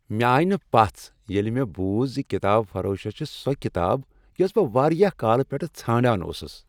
مےٚ آیہ نہٕ پژھ ییٚلہ مےٚ بوٗز ز کتاب فروشس چھےٚ سۄ کتاب یۄس بہٕ واریاہ کالہٕ پیٹھٕ ژھانڈان اوسس ۔